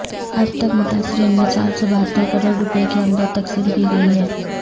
اب تک متاثرین میں چار سو بہتر کروڑ روپے کی امداد تقسیم کی گئی ہے